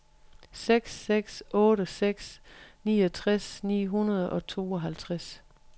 seks seks otte seks niogtres ni hundrede og tooghalvtreds